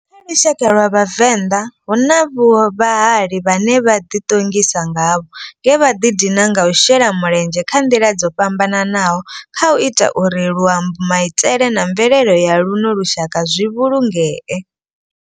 Kha lushaka lwa vhavenda, hu na vhahali vhane ra di tongisa ngavho nge vha di dina nga u shela mulenzhe nga ndila dzo fhambananaho khau ita uri luambo, maitele na mvelele ya luno lushaka zwi vhulungee.